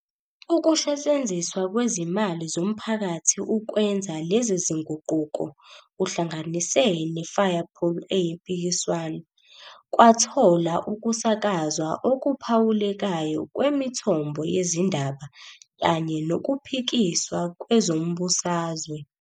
Ukusetshenziswa kwezimali zomphakathi ukwenza lezi zinguquko, kuhlanganise ne-firepool eyimpikiswano, kwathola ukusakazwa okuphawulekayo kwemithombo yezindaba kanye nokuphikiswa kwezombusazwe.